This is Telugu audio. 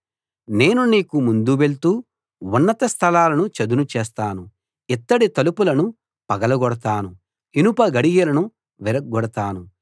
నేను నీకు ముందు వెళ్తూ ఉన్నత స్థలాలను చదును చేస్తాను ఇత్తడి తలుపులను పగలగొడతాను ఇనపగడియలను విరగ్గొడతాను